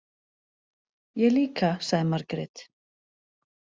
Ég líka, sagði Margrét.